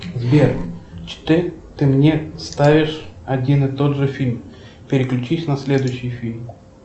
сбер что ты мне ставишь один и тот же фильм переключись на следующий фильм